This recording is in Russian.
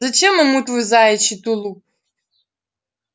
зачем ему твой заячий тулуп